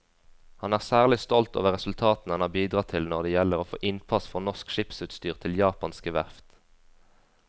Han er særlig stolt over resultatene han har bidratt til når det gjelder å få innpass for norsk skipsutstyr til japanske verft.